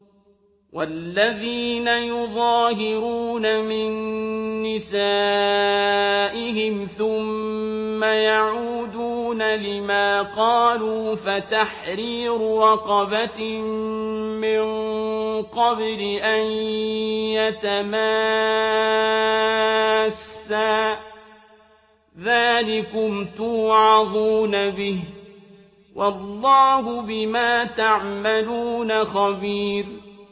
وَالَّذِينَ يُظَاهِرُونَ مِن نِّسَائِهِمْ ثُمَّ يَعُودُونَ لِمَا قَالُوا فَتَحْرِيرُ رَقَبَةٍ مِّن قَبْلِ أَن يَتَمَاسَّا ۚ ذَٰلِكُمْ تُوعَظُونَ بِهِ ۚ وَاللَّهُ بِمَا تَعْمَلُونَ خَبِيرٌ